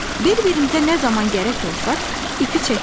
Bir-birimizə nə zaman gərək olsaq, ipi çəkək.